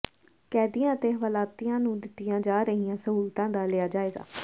ਕੈਦੀਆਂ ਅਤੇ ਹਵਾਲਾਤੀਆਂ ਨੂੰ ਦਿੱਤੀਆਂ ਜਾ ਰਹੀਆਂ ਸਹੂਲਤਾਂ ਦਾ ਲਿਆ ਜਾਇਜ਼ਾ